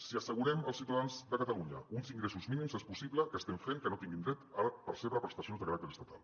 si assegurem als ciutadans de catalunya uns ingressos mínims és possible que estiguem fent que no tinguin dret a percebre prestacions de caràcter estatal